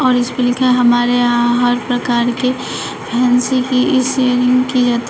और इसपे लिखा है हमारे यहां हर प्रकार के फैंसी की इ सेलिंग की जात् --